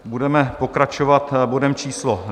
Budeme pokračovat bodem číslo